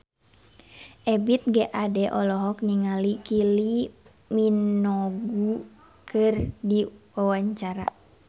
Ebith G. Ade olohok ningali Kylie Minogue keur diwawancara